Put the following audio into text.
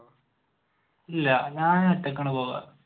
ഇല്ല ഞാൻ ഒറ്റക്കാണ് പോകുക